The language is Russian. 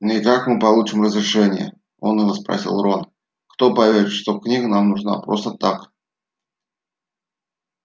ну и как мы получим разрешение уныло спросил рон кто поверит что книга нам нужна просто так